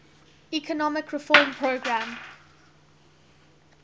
economic reform program